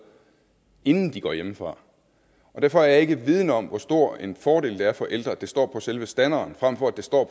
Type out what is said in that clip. inden de går hjemmefra derfor er jeg ikke vidende om hvor stor en fordel det er for ældre at det står på selve standeren frem for at det står